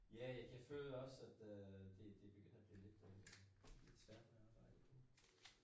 Ja ik jeg føler også at øh det det begynder at blive lidt øh lidt svært med arbejde nu